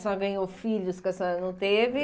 Senhora ganhou filhos que a senhora não teve.